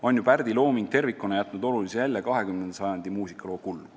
On ju Pärdi looming tervikuna jätnud olulise jälje 20. sajandi muusikaloo kulgu.